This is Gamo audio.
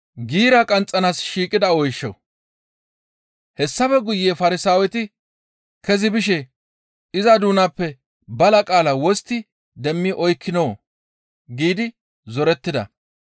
Hessafe guye Farsaaweti kezi bishe, «Iza doonappe bala qaala wostti demmi oykkinoo?» giidi zorettida.